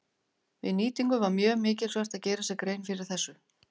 Við nýtingu var mjög mikilsvert að gera sér grein fyrir þessu.